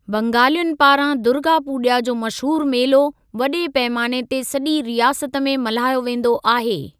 बंगालियुनि पारां दुर्गा पूॼा जो मशहूरु मेलो, वॾे पैमाने ते सॼी रियासत में मल्हायो वेंदो आहे।